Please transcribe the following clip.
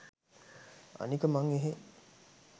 අනික මං එහෙ